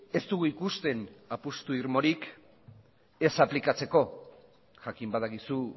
ez dugu ikusten apustu irmorik ez aplikatzeko jakin badakizu